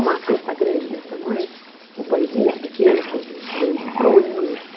Uma cesta grande desse tamanho, com pãezinhos pequenos, pãezinhos grandes, broinhas.